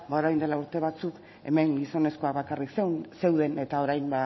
orain dela urte batzuk hemen gizonezkoak bakarrik zeuden eta orain